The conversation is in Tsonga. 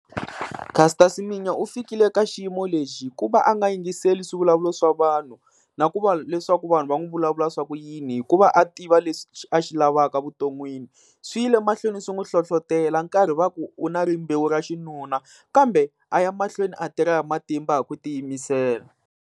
Caster Semenya u fikile eka xiyimo lexi hikuva a nga yingiseli swivulavulo swa vanhu, na ku va leswaku vanhu va n'wi vulavula swa ku yini, hikuva a tiva leswi a xi lavaka vuton'wini. Swi yile mahlweni swi n'wi hlohlotelo karhi va ku u na rimbewu ra xinuna, kambe a ya mahlweni a tirha hi matimba hi ku ti yimisela.